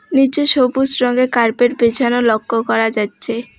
নিচে সবুজ রঙের কার্পেট বিছানো লক্ষ্য করা যাচ্ছে।